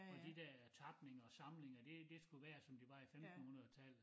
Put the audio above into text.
Og de der tapninger og samlinger det det skulle være som det var i 15 hundredetallet